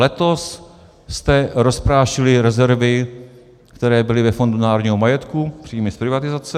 Letos jste rozprášili rezervy, které byly ve Fondu národního majetku, příjmy z privatizace.